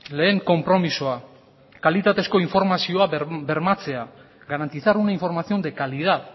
lehen konpromisoa kalitatezko informazio bermatzea garantizar una información de calidad